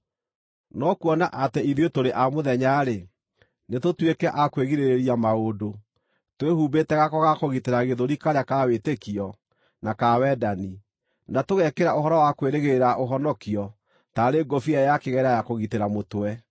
No kuona atĩ ithuĩ tũrĩ a mũthenya-rĩ, nĩtũtuĩke a kwĩgirĩrĩria maũndũ, twĩhumbĩte gako ga kũgitĩra gĩthũri karĩa ka wĩtĩkio na ka wendani, na tũgekĩra ũhoro wa kwĩrĩgĩrĩra ũhonokio taarĩ ngũbia ya kĩgera ya kũgitĩra mũtwe.